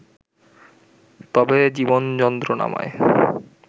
তবে জীবন যন্ত্রণাময়